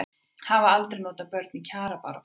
Hafa aldrei notað börn í kjarabaráttu